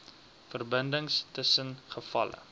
verbindings tussen gevalle